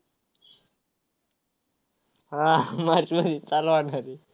हा. मार्चमध्ये चालू होणार आहे.